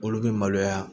Olu bɛ maloya